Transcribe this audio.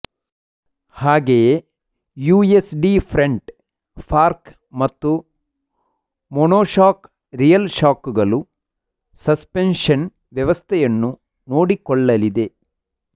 ಹಾಗೆಯೇ USD front fork ಮತ್ತು monoshock rear shock ಗಳು ಸಸ್ಪೆನ್ಷನ್ ವ್ಯವಸ್ಥೆಯನ್ನು ನೋಡಿಕೊಳ್ಳಲಿದೆ